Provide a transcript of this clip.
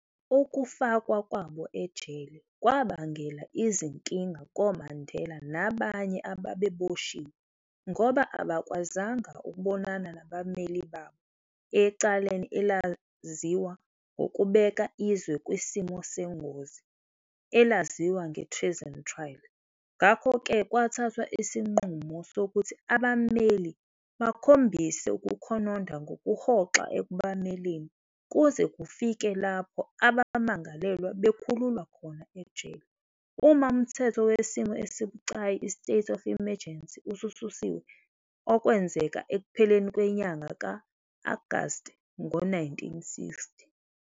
Ukufakwa kwabo ejele, kwabangela izinkinga koMandela nabanye ababeboshiwe ngoba abakwazanga ukubonana nabammeli babo ecaleni elaziwa ngokubeka izwe kwisimo sengozi elaziwa nge-Treason Trial, ngakho-ke kwathathwa isinqumo sokuthi abammeli bakhombise ukukhononda ngokuhoxa ekubameleni kuze kufike lapho abammangalelwa bekhululwa khona ejele, uma umthetho wesimo esibucayi i-state of emergency usususiwe, okwenzeka ekupheleni kwenyanga ka-Agasti ngo 1960.